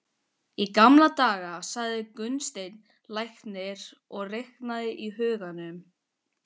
Í gamla daga, sagði Gunnsteinn læknir og reiknaði í huganum.